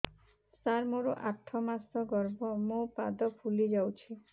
ସାର ମୋର ଆଠ ମାସ ଗର୍ଭ ମୋ ପାଦ ଫୁଲିଯାଉଛି